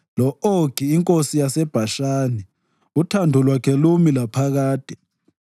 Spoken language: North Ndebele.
lo-Ogi inkosi yaseBhashani, uthando lwakhe lumi laphakade.